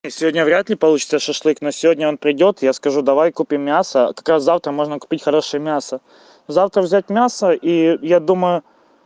не сегодня вряд ли получится шашлык но сегодня он придёт я скажу давай купим мясо как раз завтра можно купить хорошее мясо завтра взять мясо и я думаю